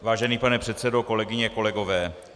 Vážený pane předsedo, kolegyně, kolegové.